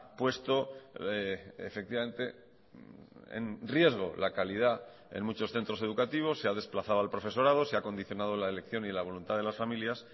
puesto efectivamente en riesgo la calidad en muchos centros educativos se ha desplazado al profesorado se ha condicionado la elección y la voluntad de las familias